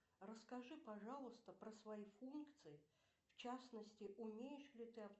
расскажи пожалуйста про свои функции в частности умеешь ли ты